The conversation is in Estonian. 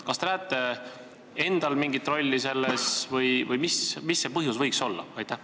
Kas te näete endal mingit rolli selles või mis see põhjus võiks olla?